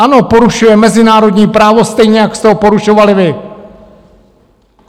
Ano, porušuje mezinárodní právo stejně, jak jste ho porušovali vy!